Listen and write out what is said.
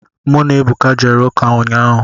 Mụ na Ebuka jere ụka ụnyaahụ.